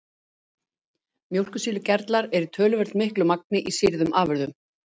Mjólkursýrugerlar eru í töluvert miklu magni í sýrðum afurðum.